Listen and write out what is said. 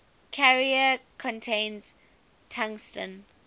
carrier contains tungsten